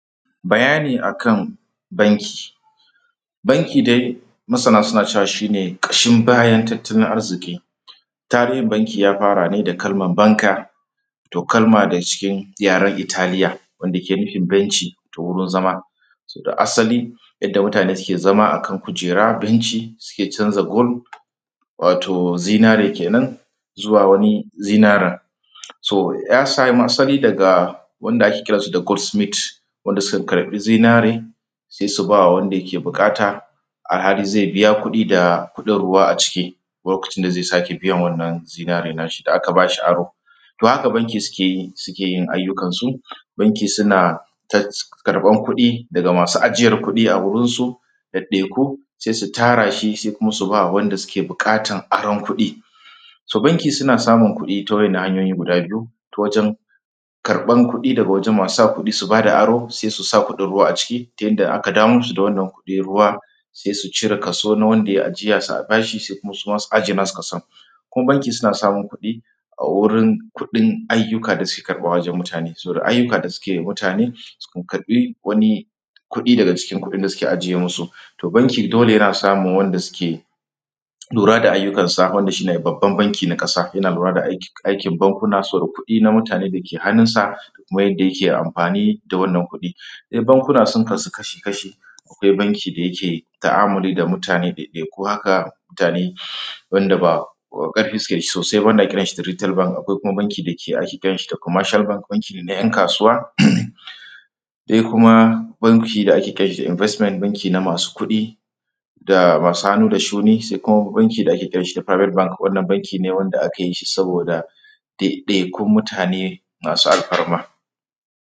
bayani akan banki banki dai masana suna cewa kashin bayan tattalin arziki tarihin banki ya: fa:ra ne da kalmar banker toh kalma ne cikin yaren italiya wanda yake nufin benci toh wurin zama: asali yadda mutane suke zama: akan kujera benci suke canza gold wato zinare kenan zuwa wani zinaren so ya samo asali daga wanda ake: kiransu da goldsmith wanda suka karɓi zinare sai su ba wanda yake bukata a halin zai biya kuɗi da kuɗin ruwa a ciki lokacin da zai sake biyan wannan zinaren na:shi da: aka bashi aro toh haka bankin suke yin ayyukan su banki suna karɓan kuɗi daga masu ajiyan kuɗi a wurin su ɗaɗɗaiku sai su ta:ra: shi sai su ba wanda suke bukatar aron kuɗi so banki suna samun kuɗi ta: waɗannan hanyoyi guda: biyu ta wajen karɓan kuɗi daga wajen masu sa kuɗi su bada aro sai su sa kuɗin ruwa a ciki ta: yadda idan aka: dawo musu wannan kuɗin ruwa sai su cire kaso na: wanda ya yi ajiya su bashi sai suma su ajiye nasu kason kuma banki suna samun kuɗi a wurin kuɗin ayyuka da: suke karɓa wajen mutane saboda ayyuka suke wa mutane su karɓi wani kuɗi daga cikin kuɗin da suke ajiye masu toh banki dole yana samun wanda suke lura da ayyukansa wanda shi ne babban banki na ka:sa: yana: lura da ayyukan bankuna saboda kuɗi na: mutane da yake hannunsa da kuma yadda yake amfani da wannan kuɗi bankuna sun kasu kashi-kashi akwai banki da yake ta’amali da mutane daidaiku haka mutane wanda ba karfi suke sosai ba wanda ake: kiran shi little bank akwai kuma banki da ake: kiran shi commercial bank banki ne na ‘yan kasuwa daya kuma banki da ake kiran shi investment banki na: masu kuɗi da masu hannu da shuni sai kuma banki da ake: kiran shi da private bank wannan banki ne: wanda aka yi shi saboda daidaikun mutane masu alfarma